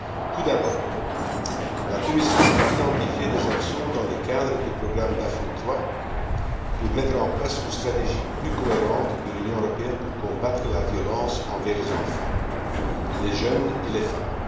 Tout d'abord, la Commission a identifié des actions dans le cadre du programme Daphné III, pour mettre en place une stratégie plus cohérente de l'Union européenne pour combattre la violence envers les enfants, les jeunes et les femmes.